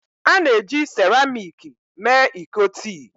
A na-eji seramiiki mee iko tii